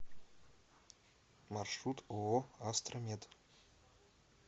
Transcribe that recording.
маршрут ооо астра мед